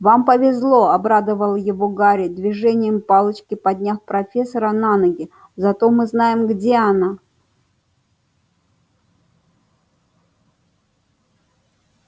вам повезло обрадовал его гарри движением палочки подняв профессора на ноги зато мы знаем где она